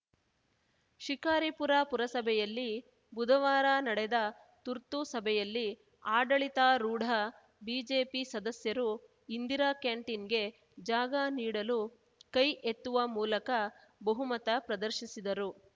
ಶಿಕಾರಿಪುರ ಪುರಸಭೆಯಲ್ಲಿ ಬುಧವಾರ ನಡೆದ ತುರ್ತು ಸಭೆಯಲ್ಲಿ ಆಡಳಿತಾರೂಢ ಬಿಜೆಪಿ ಸದಸ್ಯರು ಇಂದಿರಾ ಕ್ಯಾಂಟೀನ್‌ಗೆ ಜಾಗ ನೀಡಲು ಕೈ ಎತ್ತುವ ಮೂಲಕ ಬಹುಮತ ಪ್ರದರ್ಶಿಸಿದರು